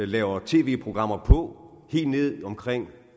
laver tv programmer på helt ned omkring